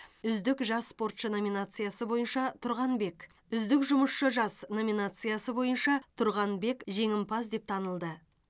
үздік жас спортшы номинациясы бойынша тұрғанбек үздік жұмысшы жас номинациясы бойынша тұрғанбек жеңімпаз деп танылды